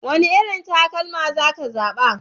Wane irin takalma za ka zaɓa?